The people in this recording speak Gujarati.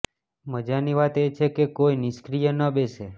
મજાની વાત એ છે કે કોઈ નિષ્ક્રિય ન બેસે